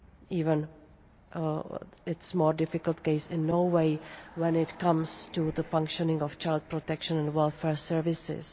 even more difficult in the case in Norway, when it comes to the functioning of child protection and welfare services.